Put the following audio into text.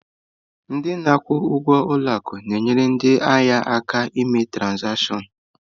Ndị na-akwụ ụgwọ ụlọ akụ na-enyere ndị ahịa aka ná ime trazatịọṅ.